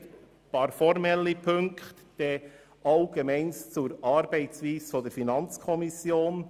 Es gibt einige formelle Punkte und anschliessend einige Bemerkungen zur Funktionsweise der Finanzkommission.